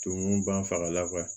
Tumu banfa la